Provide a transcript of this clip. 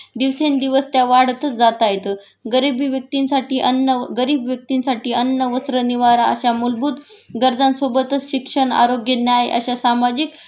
दिवसेंदिवस त्या वाढतच जाताहेत.गरिबी व्यक्तींसाठी अन्न गरीब व्यक्तींसाठी अन्न वस्त्र निवारा अश्या मूलभूत गरजांसोबतच शिक्षण, आरोग्य, न्याय अश्या सामाजिक